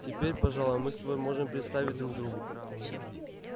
теперь пожалуй мы с тобой можем представить друг другу